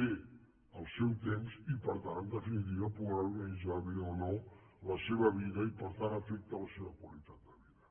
bé el seu temps i per tant en definitiva poder organitzar bé o no la seva vida i per tant afecta la seva qualitat de vida